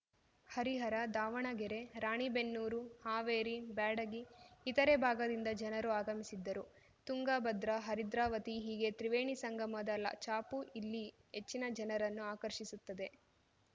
ಹರಿಹರ ದಾವಣಗೆರೆ ರಾಣೆಬೆನ್ನೂರು ಹಾವೇರಿ ಬ್ಯಾಡಗಿ ಇತರೆ ಭಾಗದಿಂದ ಜನರು ಆಗಮಿಸಿದ್ದರು ತುಂಗ ಭದ್ರಾ ಹರಿದ್ರಾವತಿ ಹೀಗೆ ತ್ರಿವೇಣಿ ಸಂಗಮದ ಲಾ ಛಾಪು ಇಲ್ಲಿ ಹೆಚ್ಚಿನ ಜನರನ್ನು ಆಕರ್ಷಿಸುತ್ತದೆ